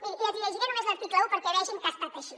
miri i els hi llegiré només l’article un perquè vegin que ha estat així